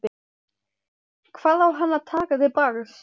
Hvað á hann að taka til bragðs?